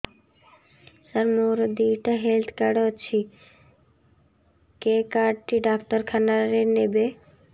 ସାର ମୋର ଦିଇଟା health card ଅଛି କେ କାର୍ଡ ଟି ଡାକ୍ତରଖାନା ରେ ନେବେ